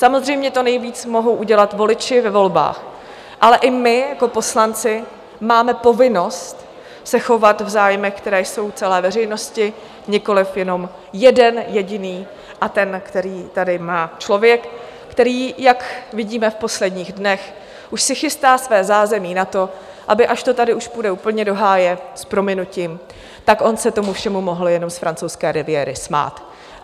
Samozřejmě to nejvíc mohou udělat voliči ve volbách, ale i my jako poslanci máme povinnost se chovat v zájmech, které jsou celé veřejnosti, nikoliv jenom jeden jediný, a ten, který tady má člověk, který jak vidíme v posledních dnech, už si chystá své zázemí na to, aby až to tady už půjde úplně do háje s prominutím, tak on se tomu všemu mohl jenom z francouzské Riviéry smát.